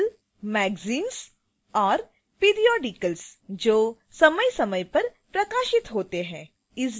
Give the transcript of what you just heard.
magazines और periodicals जो समयसमय पर प्रकाशित होते हैं